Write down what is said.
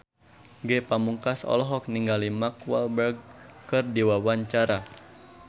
Ge Pamungkas olohok ningali Mark Walberg keur diwawancara